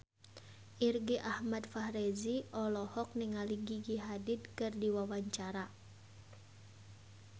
Irgi Ahmad Fahrezi olohok ningali Gigi Hadid keur diwawancara